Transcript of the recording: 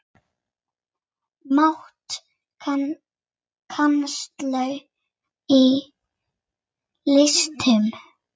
Mat á kennslu í listum